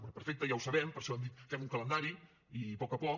bé perfecte ja ho sabem per això hem dit fem un calendari i a poc a poc